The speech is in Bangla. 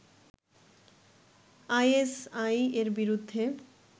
আইএসআই-এর বিরুদ্ধে